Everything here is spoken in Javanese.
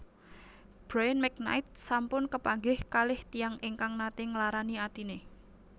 Bryan McKnight sampun kepanggih kalih tiyang ingkang nate nglarani atine